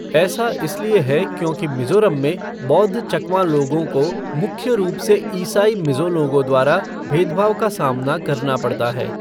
ऐसा इसलिए है क्योंकि मिज़ोरम में बौद्ध चकमा लोगों को मुख्य रूप से ईसाई मिज़ो लोगों द्वारा भेदभाव का सामना करना पड़ता है।